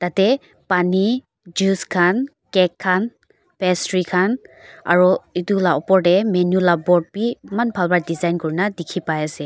yate pani juice khan cake khan pastry khan aro etu lah upor teh menu lah board bhi eman bhal pra design kuri na dikhi pai ase.